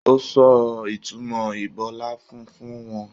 O sọ ìtumọ ibọláfún fún wọn.